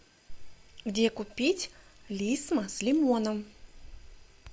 где купить лисма с лимоном